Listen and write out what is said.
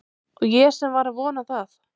Og ég sem var að vona það